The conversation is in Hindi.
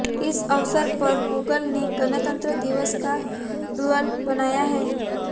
इस अवसर पर गूगल ने गणतंत्र दिवस का डूडल बनाया है